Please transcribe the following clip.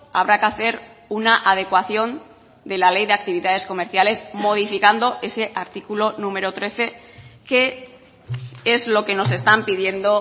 habrá que hacer una adecuación de la ley de actividades comerciales modificando ese artículo número trece que es lo que nos están pidiendo